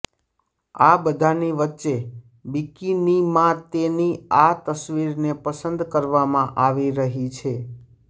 આ બધાની વચ્ચે બિકિનીમાંતેની આ તસવીરને પસંદ કરવામાં આવી રહી છે